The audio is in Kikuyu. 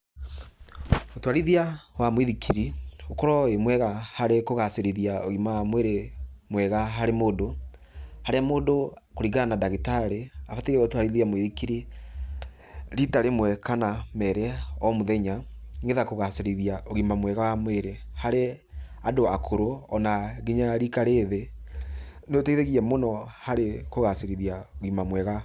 Ũtwarithia wa mũithikiri ũkoragwo wĩ mwega harĩ kũgacĩrithia ũgima wa mwĩrĩ mwega harĩ mũndũ, harĩa mũndũ kũringana na ndagĩtarĩ abatiĩ gũtwarithia mũithikiri rita rĩmwe kana merĩ o mũthenya nĩgetha kũgacĩrithia ũgima mwega wa mwĩrĩ harĩ andũ akũrũ ona nginya rika rĩthĩ. Nĩ ũteithagia mũno harĩ kũgacĩrithia ũgima mwega.